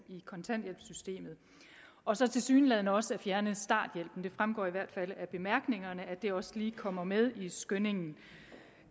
i kontanthjælpssystemet og så tilsyneladende også fjerne starthjælpen det fremgår i hvert fald af bemærkningerne at det også lige kommer med i skyndingen